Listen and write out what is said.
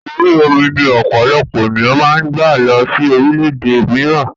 Orí omi ni ọ̀pọ̀lọpọ̀ ènìyàn máa ń gba lọ sí orílédé mìíràn